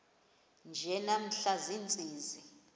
nje namhla ziintsizi